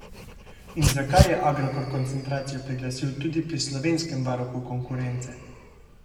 In zakaj je Agrokor koncentracijo priglasil tudi pri slovenskem varuhu konkurence?